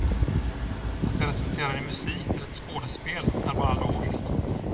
Att det resulterar i musik till ett skådespel är bara logiskt.